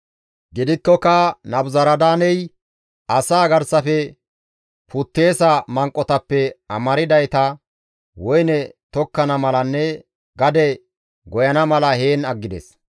Gidikkoka Nabuzaradaaney asaa garsafe putteesa manqotappe amardayta woyne tokkana malanne gade goyana mala heen aggides.